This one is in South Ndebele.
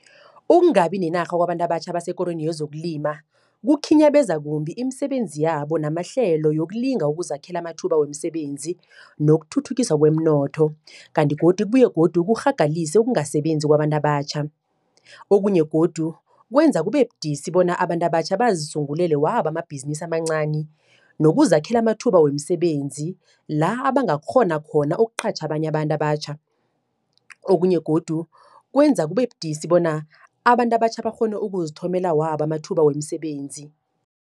Ukungabi nenarha kwabantu abatjha abasesikorweni yezokulima, kukhinyabeza kumbi imisebenzi yabo, namahlelo yokulinga ukuzakhela amathuba wemisebenzi, nokuthuthukiswa kweemnotho. Kanti godu kubuye godu kurhagalise ukungasebenzi kwabantu abatjha. Okunye godu, kwenza kube budisi bona, abantu abatjha bazisungulele wabo amabhizinisi amancani. Nokuzakhela amathuba wemisebenzi, la abangakghona khona ukuqatjha abanye abantu abatjha. Okunye godu, kwenza kubebudisi bona abantu abatjha bakghone ukuzithomela wabo amathuba wemisebenzi.